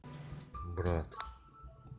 брат